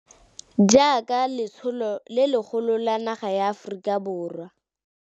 Jaaka letsholo le legolo la naga ya Aforika.